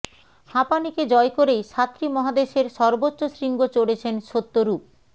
হাঁপানিকে জয় করেই সাতটি মহাদেশের সর্বোচ্চ শৃঙ্গ চড়েছেন সত্যরূপ